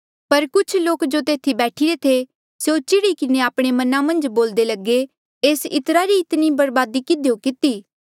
पर कुछ लोक जो तेथी बैठिरे थे स्यों चिढ़ी किन्हें आपणे मना मन्झ बोल्दे लगे एस इत्रा री इतनी बरबादी किधियो किती